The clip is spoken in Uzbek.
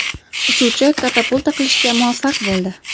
Uchuvchi katapulta qilishga muvaffaq bo‘ldi.